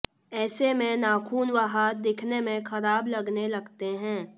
ऐसे में नाखून व हाथ दिखने में खराब लगने लगते हैं